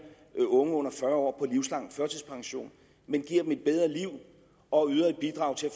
unge under fyrre år livslang førtidspension men giver dem et bedre liv og yder et bidrag til at